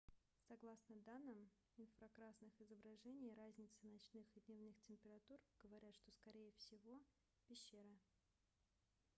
согласно данным инфракрасных изображений разницы ночных и дневных температур говорят что это скорее всего пещеры